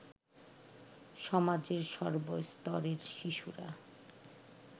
সমাজের সর্বস্তরের শিশুরা